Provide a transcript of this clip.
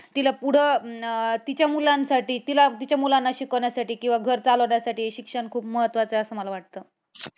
तिला पुढं अं तिच्या मुलांसाठी तिला तिच्या मुलांना शिकवण्यासाठी किंवा घर चालवण्यासाठी शिक्षण खूप महत्वाचं आहे असं मला वाटतं.